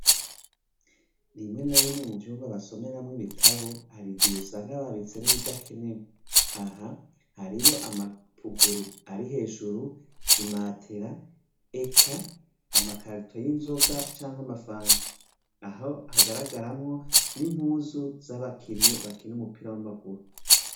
Rimwe na rimwe ivyumba basomera mwo ibitabu , harigihe usanga babitse ibidakenewe, aha harimwo amapuguru Ari hejuru, imatera Eka amakarito yinzoga canke amafanta ,aho Hagara garamwo, nimpuzu zabakinyi bakina umupira wamaguru .